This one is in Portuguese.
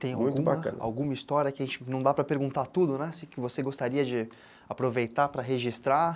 Tem alguma história que a gente não dá para perguntar tudo, né, que você gostaria de aproveitar para registrar?